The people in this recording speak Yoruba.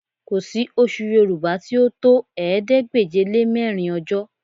Kò sí oṣù Yorùbá tí ó tó ̀ẹẹ́dégbèje-lé-mẹ́rin ọjọ́